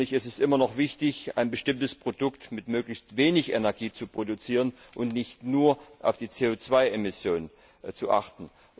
Es ist immer noch wichtig, ein bestimmtes Produkt mit möglichst wenig Energie zu produzieren und nicht nur auf die CO 2 Emissionen zu achten.